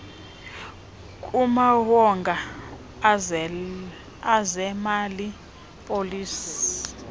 kumawonga ezemali policy